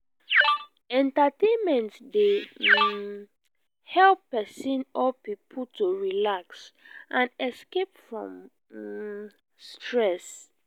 entertainment dey um help person or pipo to relax and escape from um stress